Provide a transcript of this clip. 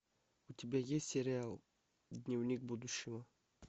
у тебя есть сериал дневник будущего